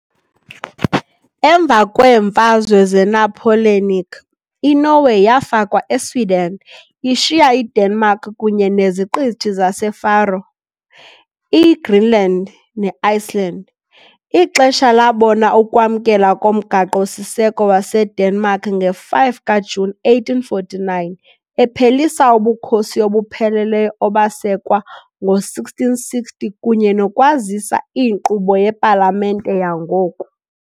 Emva kweeMfazwe zeNapoleonic, iNorway yafakwa eSweden, ishiya iDenmark kunye neZiqithi zaseFaroe, iGreenland, neIceland . Ixesha labona ukwamkelwa koMgaqo -siseko waseDenmark nge-5 kaJuni 1849, ephelisa ubukhosi obupheleleyo obasekwa ngo-1660 kunye nokwazisa iinkqubo yepalamente yangoku.